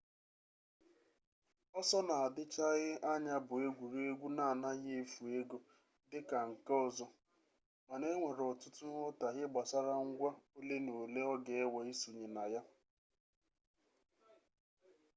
ọsọ na-adịchaghị anya bụ egwuregwu na-anaghị efu ego dị ka ndị ọzọ mana enwere ọtụtụ nghọtahie gbasara ngwa ole na ole ọ ga-ewe isonye na ya